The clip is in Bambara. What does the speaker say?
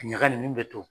Ɲagaɲagamin bɛ to